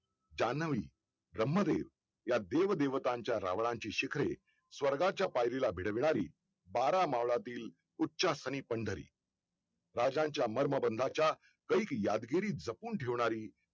जान्हवी ब्रह्म देव या देव देवतांच्या रावणाची शिखरे स्वर्गाच्या पायरीला भिडवणारी बारा मावळातील उच्च स्थनी पंढरी राजांच्या मर्मबंधाच्या कैक यादगिरी जपून ठेवणारी